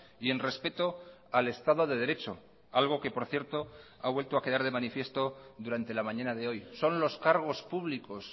y en respeto al estado de derecho algo que por cierto ha vuelto a quedar de manifiesto durante la mañana de hoy son los cargos públicos